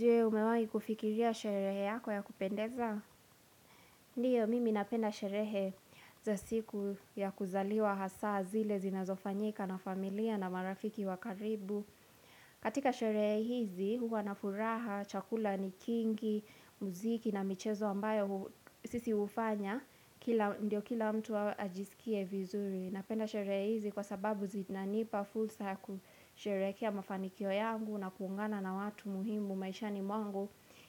Je umewahi kufikiria sherehe yako ya kupendeza? Ndiyo, mimi napenda sherehe za siku ya kuzaliwa hasa zile zinazofanyika na familia na marafiki wa karibu. Katika sherehe hizi, huwa nafuraha, chakula ni kingi, muziki na michezo ambayo hu sisi ufanya, kila ndio kila mtu ajisikie vizuri. Napenda sherehe hizi kwa sababu zinanipa fursa kusherekea mafanikio yangu na kuungana na watu muhimu maishani mwangu